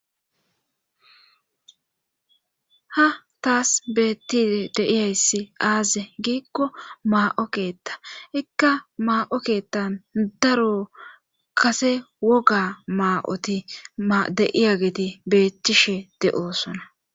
ha taas beetti deiyayssi aaze giikko maa7o keetta ikka maa7o keettan daro kase woga maa7oti deiya geeti beettishe de7osona